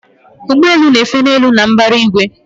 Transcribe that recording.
Ụgbọ elu na-efe elu na mbara igwe